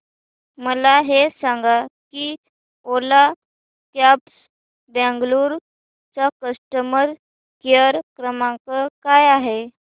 मला हे सांग की ओला कॅब्स बंगळुरू चा कस्टमर केअर क्रमांक काय आहे